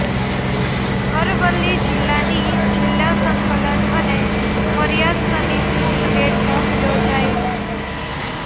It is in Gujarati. અરવલ્લી જિલ્લાની જિલ્લા સંકલન અને ફરિયાદ સમિતીની બેઠક યોજાઇ